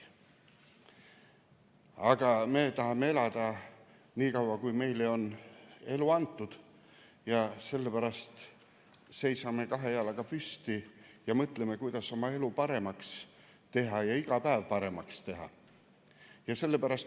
Aga me tahame elada nii kaua, kui meile on elu antud, sellepärast seisame kahe jala peal püsti ning mõtleme, kuidas oma elu paremaks teha ja iga päev paremaks teha.